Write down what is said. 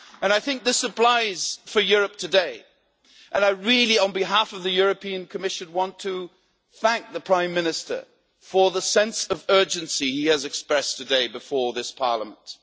I think this applies to Europe today, and I really, on behalf of the European Commission, want to thank the Prime Minister for the sense of urgency he has expressed today before this Parliament.